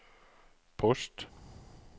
post